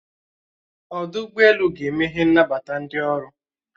Ọdụ ụgbọelu ga-emehe nnabata ndi ọrụ